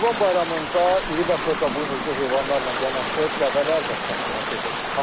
Qurban Bayramında iri və xırdabuynuzlu heyvanlarla yanaşı dəvələr də kəsimə gedir.